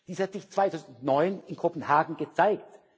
Dies hat sich 2009 in Kopenhagen gezeigt.